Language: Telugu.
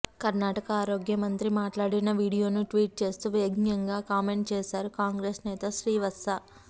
కర్ణాటక ఆరోగ్య మంత్రి మాట్లాడిన వీడియోను ట్వీట్ చూస్తూ వ్యంగ్యంగా కామెంట్ చేశారు కాంగ్రెస్ నేత శ్రీవాత్స